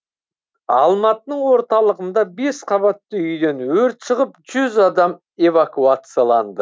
алматының орталығында бес қабатты үйден өрт шығып жүз адам эвакуацияланды